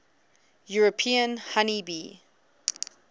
european honey bee